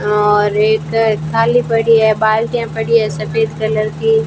और एक थाली पड़ी है बाल्टियां पड़ी है सफेद कलर की --